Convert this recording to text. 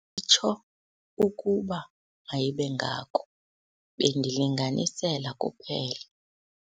tsho ukuba mayibe ngako, bendilinganisela kuphela.